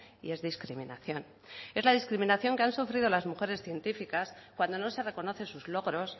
y es discriminación es la discriminación que han sufrido las mujeres científicas cuando no se reconocen sus logros